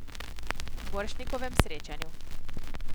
Borštnikovem srečanju.